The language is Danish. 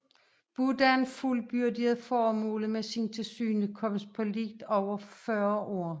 Buddhaen fuldbyrdede formålet med sin tilsynekomst på lidt over fyrre år